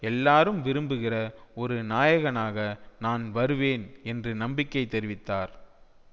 எல்லாரும் விரும்புகிற ஒரு நாயகனாக நான் வருவேன் என்று நம்பிக்கை தெரிவித்தார்